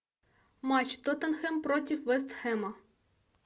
матч тоттенхэм против вест хэма